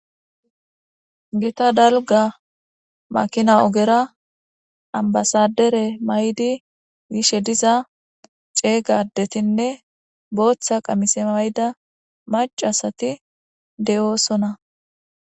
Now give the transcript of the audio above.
gita dalga makina ogera ambasadere maydi gishe diza ceeygadetinne booththa qamise mayda macasati de7oosona